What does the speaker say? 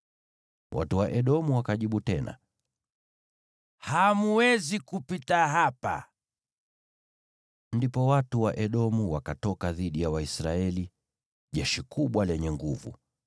Watu wa Edomu wakajibu tena: “Hamwezi kupita hapa.” Ndipo watu wa Edomu wakatoka dhidi ya Waisraeli, jeshi kubwa lenye nguvu.